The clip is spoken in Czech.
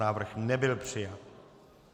Návrh nebyl přijat.